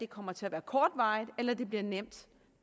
kommer til at være kortvarigt eller at det bliver nemt